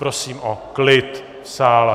Prosím o klid v sále.